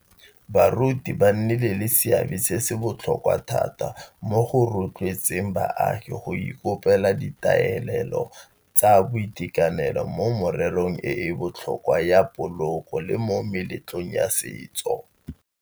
Baruti ba nnile le seabe se se botlhokwa thata mo go rotloetseng baagi go ikobela ditaolelo tsa boitekanelo mo mererong e e botlhokwa ya poloko le mo meletlong ya setso.